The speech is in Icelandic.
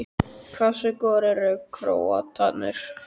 Hversu góðir eru Króatarnir?